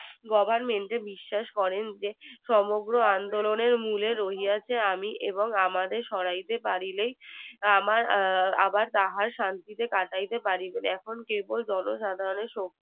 goverment এ বিশ্বাস করেন যে সমগ্র আন্দোলনের মুলে রহিয়াচি আমি এবং আমাকে সরাতে পারিলেই আবার তাহারা শান্তি তে কাটাইতে পারিবে এখন কেবল জন সাধারণের